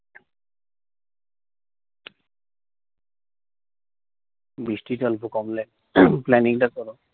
বৃষ্টি টা অল্প কমলে planning টা করো।